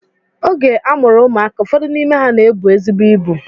Oge a mụrụ ụmụaka, ụfọdụ n'ime ha na-ebu ezigbo ibu